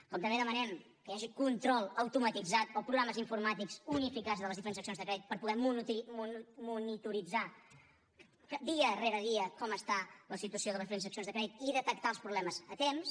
com també demanem que hi hagi control automatitzat o programes informàtics unificats de les diferents seccions de crèdit per poder monitoritzar dia rere dia com està la situació de les diferents seccions de crèdit i detectar els problemes a temps